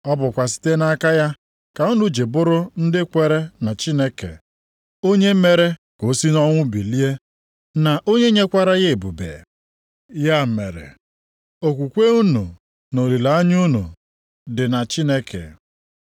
Ọ bụkwa site nʼaka ya ka unu ji bụrụ ndị kwere na Chineke, onye mere ka o si nʼọnwụ bilie, na onye nyekwara ya ebube. Ya mere, okwukwe unu na olileanya unu dị na Chineke.